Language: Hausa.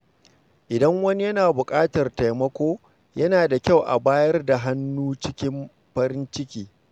Idan wani yana buƙatar taimako, yana da kyau a bayar da hannu cikin farin ciki.